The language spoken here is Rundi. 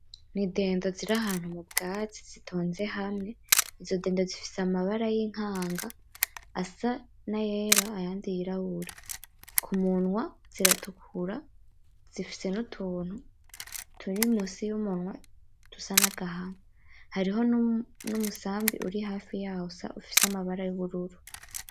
N'idindo ziri ahantu m'ubwatsi zitonze hamwe. Izo dendo zifise amabara y'inkanga asa n'ayera ayandi yirabura. K'umunwa ziratukura zifise n'umuntu turi munsi y'umunwa dusa n'agahama. Hariho n'umusambi uri hafi yazo ifise amabara y'ubururu.